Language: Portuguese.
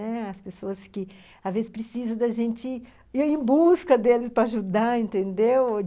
As pessoas que, às vezes, precisam da gente ir em busca delas para ajudar, entendeu?